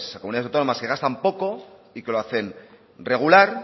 comunidades autónomas que gastan poco y que lo hacen regular